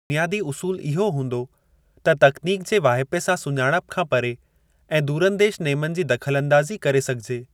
बुनियादी उसूल इहो हूंदो त तकनीक जे वाहिपे सां सुञाणप खां परे ऐं दूरंदेश नेमनि जी दख़लअंदाज़ी करे सघिजे।